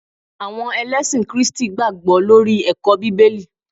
àwọn elesin kristi gbagbo lori eko bibeli